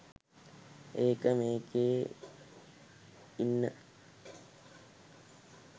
ඒක මේකෙ ඉන්න.